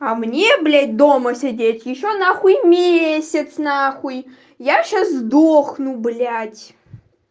а мне блять дома сидеть ещё нахуй месяц нахуй я сейчас сдохну блять